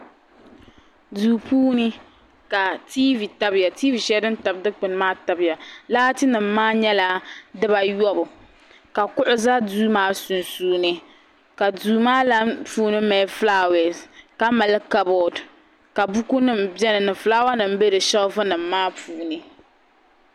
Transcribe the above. Duu puuni ka tiivi tabiya tiivi shɛli din tabi dukpuni maa tabiya laatinima maa nyɛla dibaayɔbu ka kuɣu za duu maa sunsuuni ka duu maa puuni mali fulaawaasi ka mali kaboodi ka bukunima beni ni fulaawanima be shelvinima maa puuni.